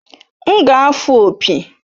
M ga-afụ opi